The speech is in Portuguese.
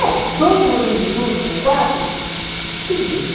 É, dois morando junto com quatro, se vira.